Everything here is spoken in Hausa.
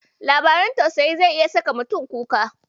Labarin tausayi zai iya saka mutum kuka.